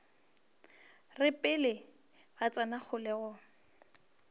re pele ba tsena kgolegong